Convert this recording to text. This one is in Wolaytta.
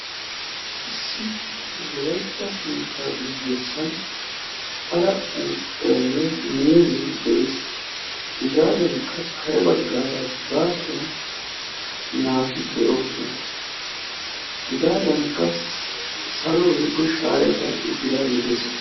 issi wolaytta keettaa guyessan ala uuttay de'ees. hegaadankka kare bagaara baasuwan naati de'oosona. kehaadankka shaaray karexi uttidaagee de'ees.